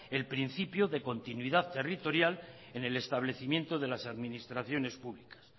el principio de continuidad territorial en el establecimiento de las administraciones públicas